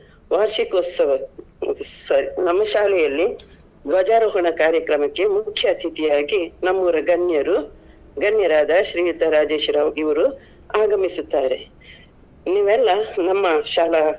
ವಾರ್ಷಿಕೋತ್ಸವ sorry ನಮ್ಮ ಶಾಲೆಯಲ್ಲಿ ಧ್ವಜಾರೋಹಣ ಕಾರ್ಯಕ್ರಮಕ್ಕೆ ಮುಖ್ಯ ಅತಿಥಿಯಾಗಿ ನಮ್ಮೂರ ಗಣ್ಯರು, ಗಣ್ಯರಾದ ಶ್ರೀಯುತ ರಾಜೇಶ್ ರಾವ್ ಇವ್ರು ಆಗಮಿಸುತ್ತಾರೆ ನೀವೆಲ್ಲ ನಮ್ಮ ಶಾಲಾ.